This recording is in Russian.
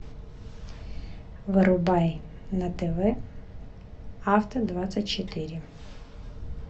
врубай на тв авто двадцать четыре